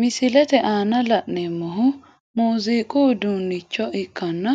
Misilete aanna la'neemohu muuziiqu uduunicho ikkanna